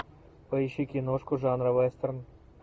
поищи киношку жанра вестерн